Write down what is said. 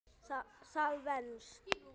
Það venst.